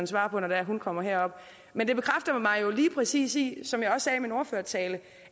svare på når hun kommer herop men det bekræfter mig lige præcis i som jeg også sagde i min ordførertale